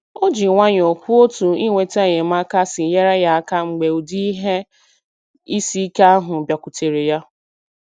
O ji nwayọọ kwuo otu inweta enyemaka si nyere ya aka mgbe ụdị ihe isi ike ahụ bịakwutere ya.